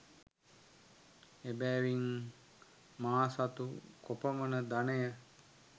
එබැවින් මා සතු කොපමණ ධනය